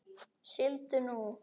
Sigldu nú.